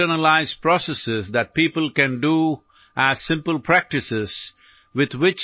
ഇതിനായി യോഗാ സംവിധാനത്തിൽ പ്രക്രിയകളെ പൂർണമായും ആന്തരികമാക്കുന്ന നിരവധി തലത്തിലുള്ള സമ്പ്രദായങ്ങളുണ്ട്